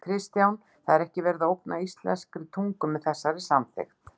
Kristján: Það er ekki verið að ógna íslenskri tungu með þessari samþykkt?